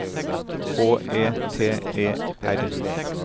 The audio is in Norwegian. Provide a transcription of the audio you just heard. H E T E R